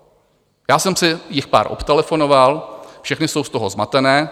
Já jsem si jich pár obtelefonoval, všechna jsou z toho zmatená.